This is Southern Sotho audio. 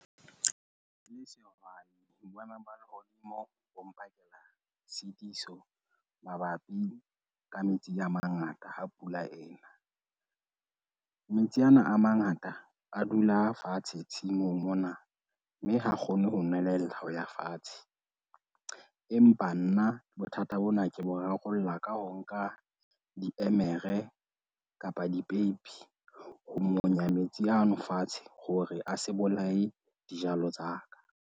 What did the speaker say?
Ke le sehwai, boemo ba lehodimo bo mpakela tshitiso mabapi ka metsi a mangata ha pula ena. Metsi ana a mangata a dula fatshe tshimong mona, mme ha kgone ho nwelella ho ya fatshe. Empa nna bothata bona ke bo rarollla ka ho nka, diemere kapa dipeipi, ho monya metsi ano fatshe hore a se bolaye dijalo tsa ka.